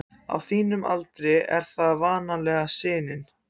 Á þínum aldri er það vanalega sinin.